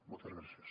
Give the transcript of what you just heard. moltes gràcies